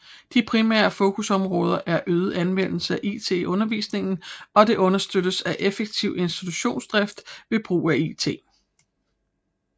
De primære fokusområder er øget anvendelse af it i undervisningen og understøttelse af effektiv institutionsdrift ved brug af it